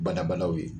Badabalaw ye